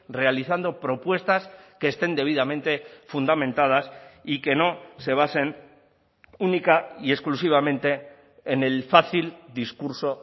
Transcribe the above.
realizando propuestas que estén debidamente fundamentadas y que no se basen única y exclusivamente en el fácil discurso